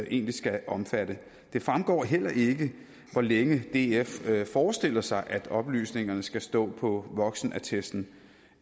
egentlig skal omfatte det fremgår heller ikke hvor længe df forestiller sig at oplysningerne skal stå på voksenattesten